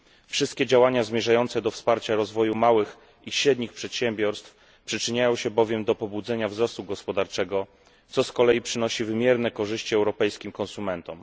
Wszystkie działania zmierzające do wsparcia rozwoju małych i średnich przedsiębiorstw przyczyniają się bowiem do pobudzenia wzrostu gospodarczego, co z kolei przynosi wymierne korzyści europejskim konsumentom.